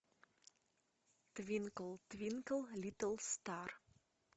твинкл твинкл литл стар